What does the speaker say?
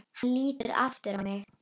Hann lítur aftur á mig.